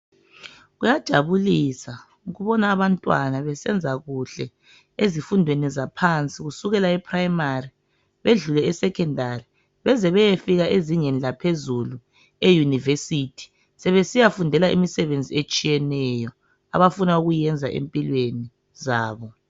kuyajabulisa ukubona abantwana besenza kuhle ezifundweni zaphansi kusukela e primary bedlule esecondary beze beyefika ezingeni laphezulu e university sebesiyafundela imisebenzi etshiyeneyo abafuna ukuyiyenza empilweni zabo